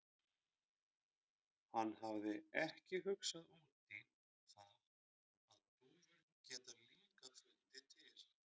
Hann hafði ekki hugsað út í það að dúfur geta líka fundið til.